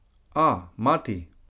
A, mati?